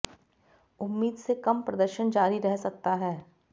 उम्मीद से कम प्रदर्शन जारी रह सकता है